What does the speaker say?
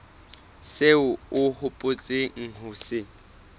seo o hopotseng ho se